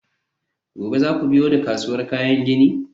gobe za ku biyo ni kasuwar kayan gini?